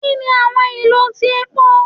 Kini awọn ilo ti epo?